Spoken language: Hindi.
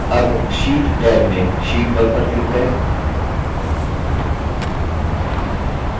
tab sheet टैब में sheet 1 पर click करें